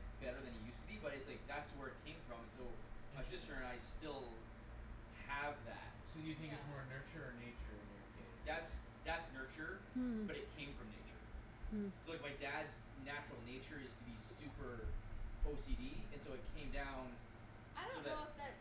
Yeah. better than he used to be, but it's like that's where it came from, and so my sister and I still have that. So do you think Yeah. it's more nurture or nature in your case That's, that's that's nurture Hmm. but it came from nature. Hmm. So, like, my dad's natural nature is to be super OCD, and so it came down I so don't know that if that's